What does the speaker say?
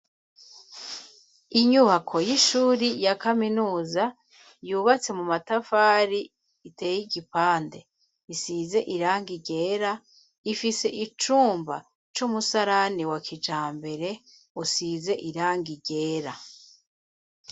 Inyubako y'ishuri ya kaminuza yubatse mu matafari iteye igipande isize irangi ryera ifise icumba c'umusarani wa kijambere usize irangi ryera.